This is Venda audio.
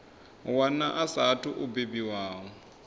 wana a saathu u bebiwaho